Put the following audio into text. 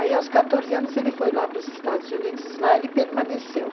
Aí, aos 14 anos, ele foi lá para os Estados Unidos, e lá ele permaneceu.